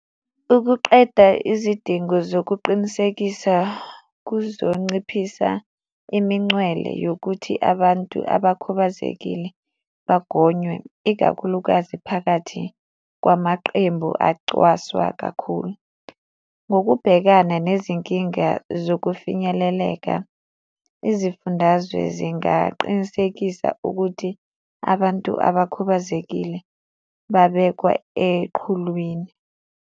Ukuqeda izidingo zokuqinisekisa kuzonciphisa imincwele yokuthi abantu abakhubazekile bagonywe, ikakhulukazi phakathi kwamaqembu acwaswa kakhulu. Ngokubhekana nezinkinga zokufinyeleleka, izifundazwe zingaqinisekisa ukuthi abantu abakhubazekile babekwa eqhulwini.